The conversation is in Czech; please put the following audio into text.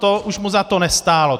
To už mu za to nestálo.